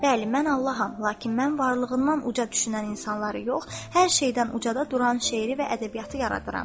Bəli, mən Allaham, lakin mən varlığından uca düşünən insanları yox, hər şeydən ucada duran şeiri və ədəbiyyatı yaradıram.